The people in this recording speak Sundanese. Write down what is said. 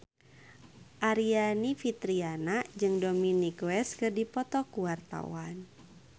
Aryani Fitriana jeung Dominic West keur dipoto ku wartawan